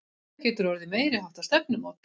Þetta getur orðið meiriháttar stefnumót!